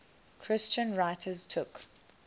christian writers took